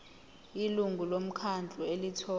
ilungu lomkhandlu elithola